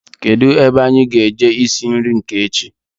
Kedụ ebe anyị ga-eje isi nri nke echi